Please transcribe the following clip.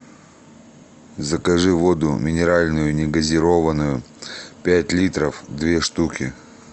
закажи воду минеральную не газированную пять литров две штуки